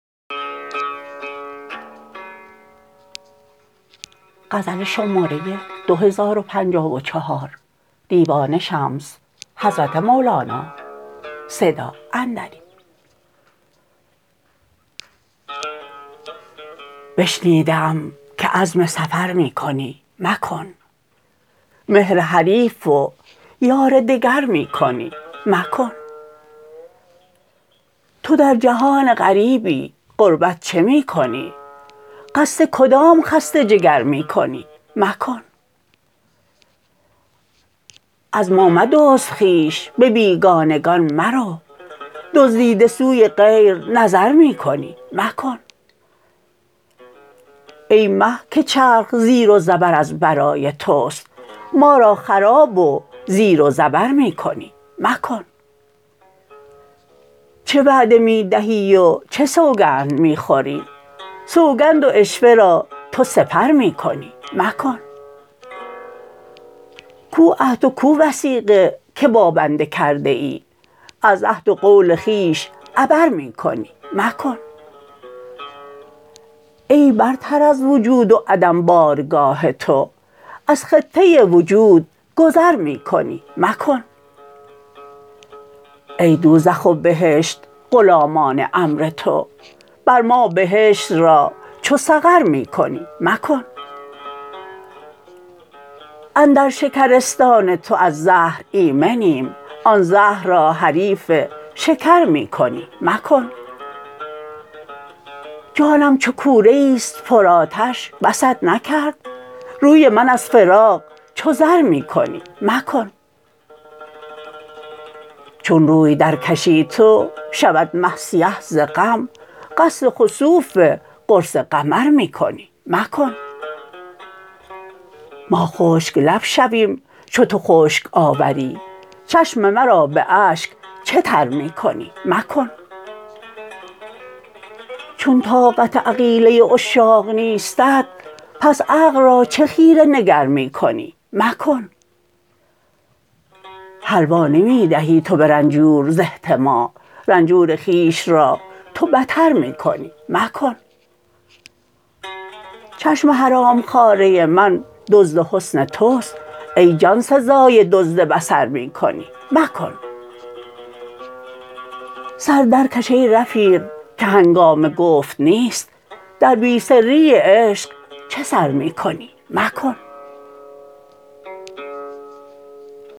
بشنیده ام که عزم سفر می کنی مکن مهر حریف و یار دگر می کنی مکن تو در جهان غریبی غربت چه می کنی قصد کدام خسته جگر می کنی مکن از ما مدزد خویش به بیگانگان مرو دزدیده سوی غیر نظر می کنی مکن ای مه که چرخ زیر و زبر از برای توست ما را خراب و زیر و زبر می کنی مکن چه وعده می دهی و چه سوگند می خوری سوگند و عشوه را تو سپر می کنی مکن کو عهد و کو وثیقه که با بنده کرده ای از عهد و قول خویش عبر می کنی مکن ای برتر از وجود و عدم بارگاه تو از خطه وجود گذر می کنی مکن ای دوزخ و بهشت غلامان امر تو بر ما بهشت را چو سقر می کنی مکن اندر شکرستان تو از زهر ایمنیم آن زهر را حریف شکر می کنی مکن جانم چو کوره ای است پرآتش بست نکرد روی من از فراق چو زر می کنی مکن چون روی درکشی تو شود مه سیه ز غم قصد خسوف قرص قمر می کنی مکن ما خشک لب شویم چو تو خشک آوری چشم مرا به اشک چه تر می کنی مکن چون طاقت عقیله عشاق نیستت پس عقل را چه خیره نگر می کنی مکن حلوا نمی دهی تو به رنجور ز احتما رنجور خویش را تو بتر می کنی مکن چشم حرام خواره من دزد حسن توست ای جان سزای دزد بصر می کنی مکن سر درکش ای رفیق که هنگام گفت نیست در بی سری عشق چه سر می کنی مکن